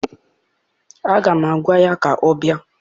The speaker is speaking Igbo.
Aga m agwa ya ka ọ bịa!